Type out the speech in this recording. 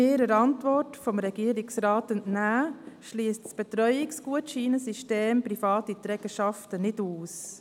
Wie wir der Antwort des Regierungsrats entnehmen, schliesst das Betreuungsgutscheinsystem private Trägerschaften nicht aus.